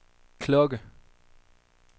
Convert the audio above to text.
klokke